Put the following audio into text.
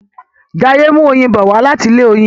Jaiye n mú oyin bó wá láti ilé oyin